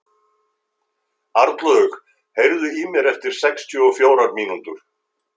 Arnlaug, heyrðu í mér eftir sextíu og fjórar mínútur.